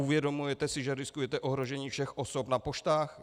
Uvědomujete si, že riskujete ohrožení všech osob na poštách?